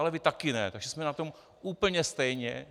Ale vy také ne, takže jsme na tom úplně stejně.